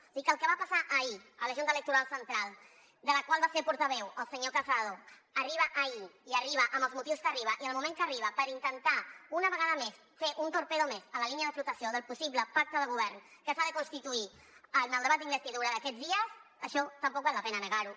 o sigui que el que va passar ahir a la junta electoral central de la qual va ser portaveu el senyor casado arriba ahir i arriba amb els motius que arriba i en el moment que arriba per intentar una vegada més fer un torpede més a la línia de flotació del possible pacte de govern que s’ha de constituir en el debat d’investidura d’aquests dies això tampoc val la pena negar ho